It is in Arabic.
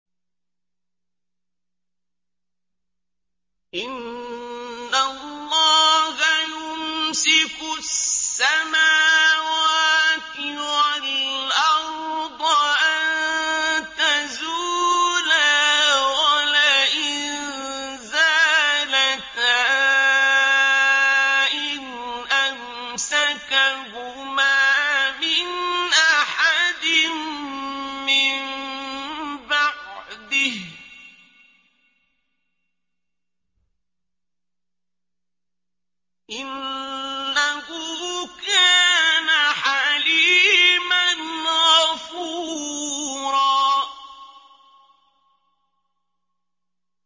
۞ إِنَّ اللَّهَ يُمْسِكُ السَّمَاوَاتِ وَالْأَرْضَ أَن تَزُولَا ۚ وَلَئِن زَالَتَا إِنْ أَمْسَكَهُمَا مِنْ أَحَدٍ مِّن بَعْدِهِ ۚ إِنَّهُ كَانَ حَلِيمًا غَفُورًا